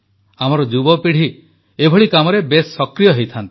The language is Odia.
ଆମର ଯୁବପିଢ଼ି ଏପରି କାମରେ ବେଶ୍ ସକ୍ରିୟ ହୋଇଥାନ୍ତି